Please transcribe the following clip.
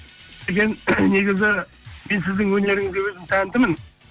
сәкен негізі мен сіздің өнеріңізге өзім тәнтімін